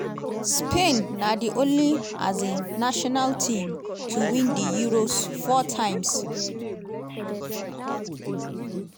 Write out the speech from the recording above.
spain na di only um national team to win di euros four times.